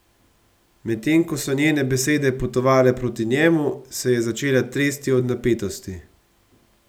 Medtem ko so njene besede potovale proti njemu, se je začela tresti od napetosti.